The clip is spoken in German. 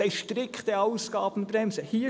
Sie haben «strikte Ausgabenbremse» gesagt.